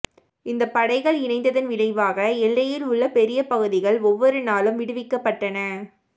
இந்த படைகள் இணைந்ததன் விளைவாக எல்லையில் உள்ள பெரிய பகுதிகள் ஒவ்வொரு நாளும் விடுவிக்கப்பட்டன